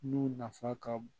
Nun nafa ka bon